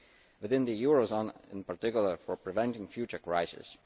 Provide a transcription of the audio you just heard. within the eurozone and, in particular, for preventing future crises.